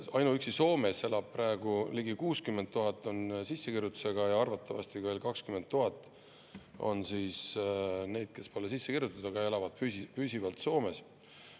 Ainuüksi Soomes elab praegu neist ligi 60 000 sissekirjutusega ja arvatavasti on 20 000 veel neid, kes pole sisse kirjutatud, aga elavad püsivalt Soomes.